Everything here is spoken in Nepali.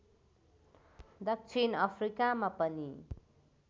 दक्षिण अफ्रिकामा पनि